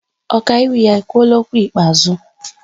Ọkaiwu ya ekwuola okwu ikpeazụ?